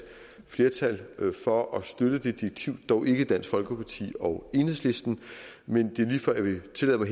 flertal for at støtte det direktiv dog ikke dansk folkeparti og enhedslisten men det er lige før jeg vil tillade mig